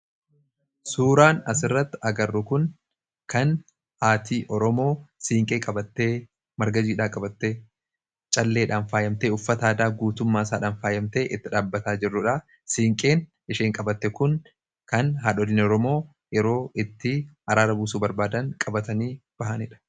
suuraan asirratti agarro kun kan aatii oromoo siinqee qabattee margajiidhaa qabatte calleedhaan faayyamtee uffata aadaa guutummaa isaadhaan faayyamte itti dhaabataa jirruudha siinqeen isheen qabatte kun kan haadholin oromoo yeroo itti araara buusuu barbaadan qabatanii bahaniidha